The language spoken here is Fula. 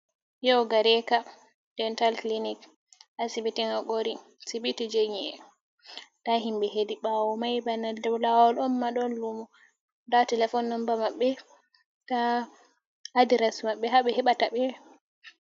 Yau gareka dental clinic, asibiti hakori asibiti je nyie, nda himɓe hedi ɓawo mai bana dow lawol on ma ɗon lumo da telefon nomba mabbe, nda adres mabbe, ha ɓe heɓata ɓe.